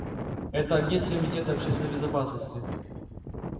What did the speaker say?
это агент комитета общественной безопасности